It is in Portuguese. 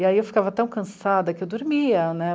E aí eu ficava tão cansada que eu dormia né.